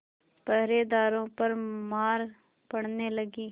पहरेदारों पर मार पड़ने लगी